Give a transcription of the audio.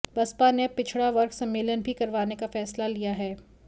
बसपा ने अब पिछड़ा वर्ग सम्मेलन भी करवाने का फैसला लिया है